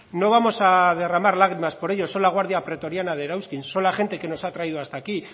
no vamos a derramar lágrimas por ellos son la guardia pretoriana de erauzkin son la gente que nos han traído hasta aquí